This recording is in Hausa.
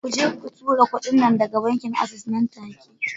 Kuje ku tura kudi na daga bankin Access nan take